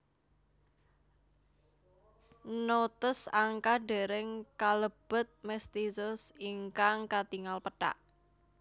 Notes Angka dèrèng kalebet mestizos ingkang katingal pethak